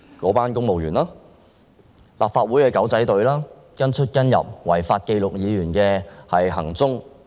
在立法會內的"狗仔隊""跟出跟入"，違法記錄議員行蹤。